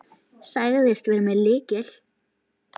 Sagðist vera með lykil.